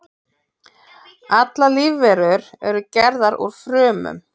Allar lífverur eru gerðar úr frumum.